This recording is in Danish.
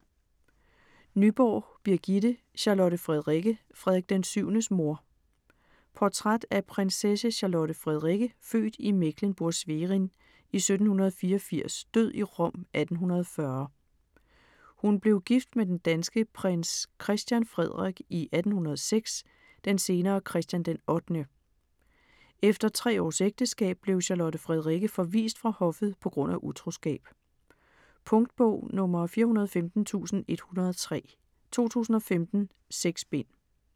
Nyborg, Birgitte: Charlotte Frederikke, Frederik VII's mor Portræt af prinsesse Charlotte Frederikke født i Mecklenburg-Schwerin i 1784 død i Rom 1840. Hun blev gift med den danske prins Christian Frederik i 1806, den senere Christian den 8. Efter tre års ægteskab blev Charlotte Frederikke forvist fra hoffet på grund af utroskab. Punktbog 415103 2015. 6 bind.